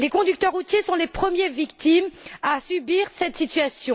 Les conducteurs routiers sont les premières victimes de cette situation.